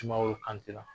Sumaworo kante la